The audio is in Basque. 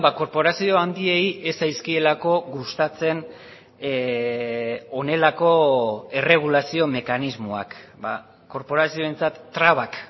korporazio handiei ez zaizkielako gustatzen honelako erregulazio mekanismoak korporazioentzat trabak